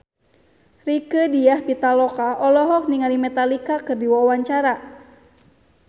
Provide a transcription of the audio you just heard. Rieke Diah Pitaloka olohok ningali Metallica keur diwawancara